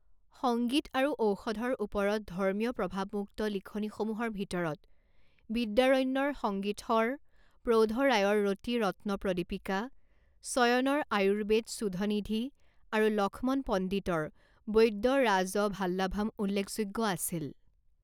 সংগীত আৰু ঔষধৰ ওপৰত ধৰ্মীয় প্ৰভাৱমুক্ত লিখনিসমূহৰ ভিতৰত বিদ্যাৰণ্যৰ সঙ্গীতশৰ, প্ৰৌধ ৰায়ৰ ৰতিৰত্ন প্ৰদীপিকা, চয়নৰ আয়ুৰ্বেদ সুধনিধি আৰু লক্ষ্মণ পণ্ডিতৰ বৈদ্যৰাজভাল্লাভাম উল্লেখযোগ্য আছিল।